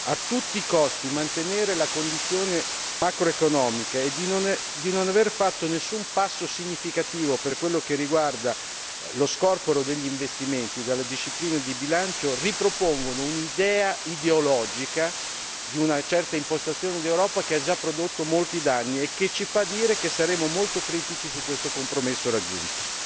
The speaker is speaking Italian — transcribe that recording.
a tutti i costi mantenere la condizione macroeconomica e di non aver fatto nessun passo significativo per quel che riguarda lo scorporo degli investimenti dalla disciplina di bilancio, ripropongono un'idea ideologica di una certa impostazione dell'Europa che ha già prodotto molti danni e che ci fa già affermare la nostra criticità sul compromesso raggiunto.